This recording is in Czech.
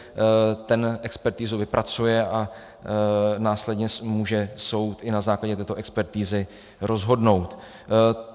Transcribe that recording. Ten expertizu vypracuje a následně může soud i na základě této expertizy rozhodnout.